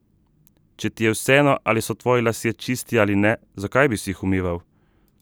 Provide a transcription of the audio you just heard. Če ti je vseeno, ali so tvoji lasje čisti ali ne, zakaj bi si jih umival?